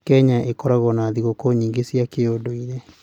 Kenya ĩkoragwo na thigũkũ nyingĩ cia kĩũndũire.